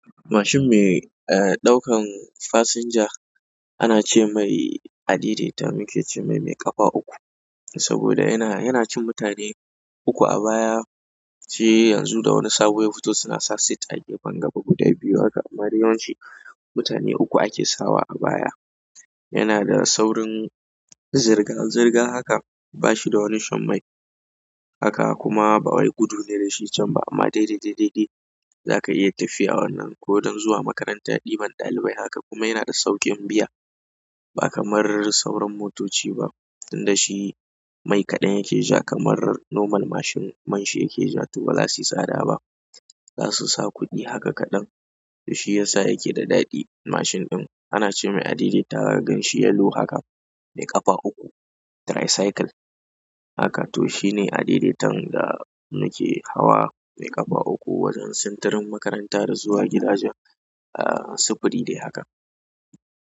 Mashin mai, eh, ɗaukan fasinja ana ce mai adai dai ta nake ce mai mai ƙafa uku saboda yana cin mutane uku a baya sai yanzu da wani sabon ya fito suna sa sit a gefen gaba, guda biyu haka. Amma dai yawanci mutane uku ake sawa a baya. Yana da saurin zirga zirga haka, ba shi da wani shan mai haka kuma ba wai gudu ne da shi can ba amma dai dai dai dai za ka iya tafiya wannan ko don zuwa makaranta ɗiban ɗalibai. Haka kuma yana da sauƙin biya ba kamar sauran motoci ba. Tunda shi mai kaɗan yake ja kamar normal mashin man shi yake ja toh ba za su yi tsada ba. Zasu sa kuɗi haka kaɗan to shi yasa yake da daɗi mashin ɗin ana ce mai adedaita ganshi yalo haka, mai ƙafa uku, tricycle haka. To shi ne adedaitan da nake hawa mai ƙafa uku wajen sintirin makaranta da zuwa gidaje, ah, sifiri dai haka.